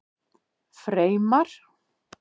Freymar